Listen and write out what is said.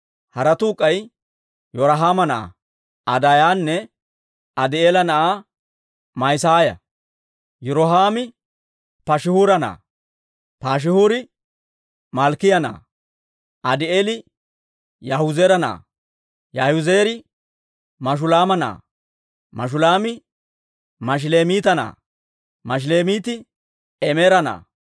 Haratuu k'ay Yirohaama na'aa Adaayanne Adii'eela na'aa Ma'isaaya. Yirohaami Paashihuura na'aa; Paashihuuri Malkkiyaa na'aa. Adii'eeli Yaahizeera na'aa; Yaahizeeri Mashulaama na'aa; Mashulaami Mashilemiita na'aa; Mashilemiiti Imeera na'aa.